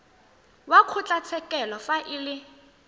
wa kgotlatshekelo fa e le